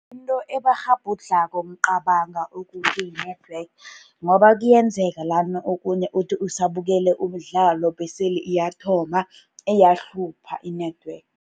Into ebakghabhudlhako ngicabanga ukuthu yi-network, ngoba kuyenzeka lana okhunye uthi usabukele umdlalo. Bese-ke iyathoma iyahlupha i-network.